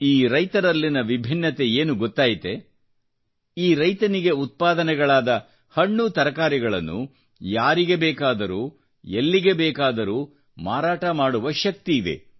ಈ ರೈತರಲ್ಲಿನ ವಿಭಿನ್ನತೆ ಏನು ಗೊತ್ತಾಯಿತೆ ಈ ರೈತನಿಗೆ ಉತ್ಪಾದನೆಗಳಾದ ಹಣ್ಣು ತರಕಾರಿಗಳನ್ನು ಯಾರಿಗೆ ಬೇಕಾದರೂ ಎಲ್ಲಿಗೆ ಬೇಕಾದರೂ ಮಾರಾಟ ಮಾಡುವ ಶಕ್ತಿ ಇದೆ